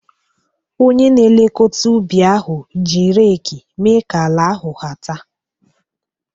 Onye na-elekọta ubi ahụ ji reeki mee ka ala ahu hata.